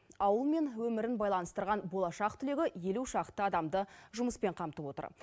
ауыл мен өмірін байланыстырған болашақ түлегі елу шақты адамды жұмыспен қамтып отыр